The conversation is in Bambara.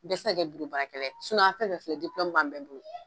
Bɛɛ tɛ se ka kɛ biro baarakɛla ye an fɛn o fɛn bin ye diplɔmu b'an bɛɛ bolo!